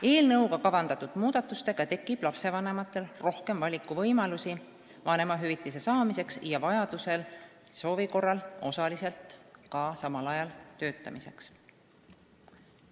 Eelnõuga kavandatud muudatuste mõjul tekib lapsevanematel rohkem valikuvõimalusi vanemahüvitise saamiseks ja soovi korral osaliselt ka samal ajal töötamiseks.